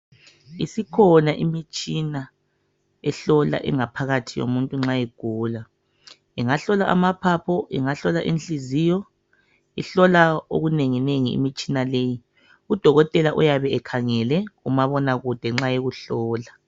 Isikhona imtshina ehlola ingaphakathi yomuntu ma egula. Ingahlola amaphaphu ingahlola inhliziyo ihlola okunenginengi imitshina leyi. Udokotela uyabe ekhangele kumabonakude nxa ekuhlola.